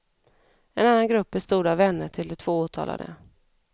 En annan grupp bestod av vänner till de två åtalade.